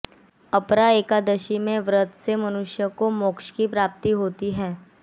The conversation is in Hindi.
अपरा एकादशी के व्रत से मनुष्य को मोक्ष की प्राप्ति होती है